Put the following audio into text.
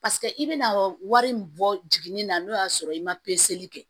Paseke i bɛna wari in bɔ jiginni na n'o y'a sɔrɔ i ma kɛ